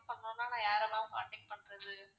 அங்கலாம் நான் யார ma'am contact பண்றது.